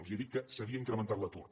els he dit que s’havia incrementat l’atur